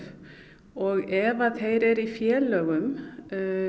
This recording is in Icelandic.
og ef að þeir eru í félögum